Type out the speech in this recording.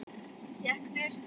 Hékk þurrt.